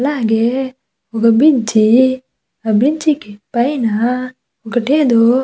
అలాగే ఒక బ్రిడ్జి ఆ బ్రిడ్జి కి పైన ఒకటి ఏదో --